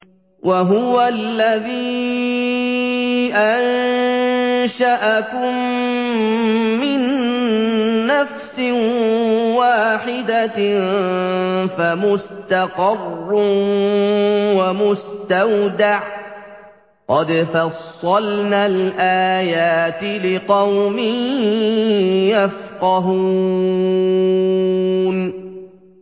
وَهُوَ الَّذِي أَنشَأَكُم مِّن نَّفْسٍ وَاحِدَةٍ فَمُسْتَقَرٌّ وَمُسْتَوْدَعٌ ۗ قَدْ فَصَّلْنَا الْآيَاتِ لِقَوْمٍ يَفْقَهُونَ